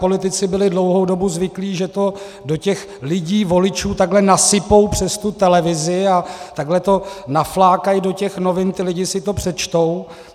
Politici byli dlouhou dobu zvyklí, že to do těch lidí, voličů, takhle nasypou přes tu televizi a takhle to naflákají do těch novin, ti lidé si to přečtou.